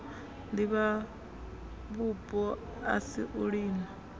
divhavhupo a si a lino